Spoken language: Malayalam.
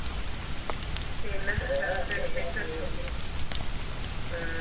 പിന്നെ വിശേഷം ഉം